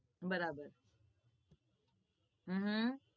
અ હ બરાબર